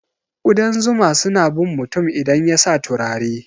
Kudan zuma suna bin mutum idan yasa turare.